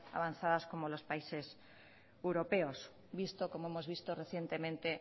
avanzadas como los países europeos visto como hemos visto recientemente